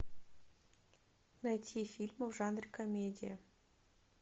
найти фильмы в жанре комедия